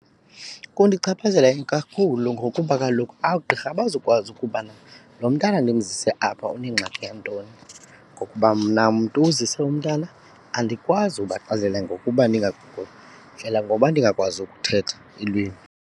Kundichaphazela ikakhulu ngokuba kaloku oogqirha abazukwazi ukubana lo mntana ndimzise apha unengxaki nantoni ngokuba mna mntu uzise umntana andikwazi ubaxelela ngokuba ndingaguli, ndlela ngoba ndingakwazi ukuthetha ilwimi.